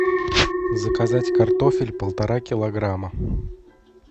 заказать картофель полтора килограмма